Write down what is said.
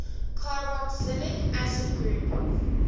carboxylic acid group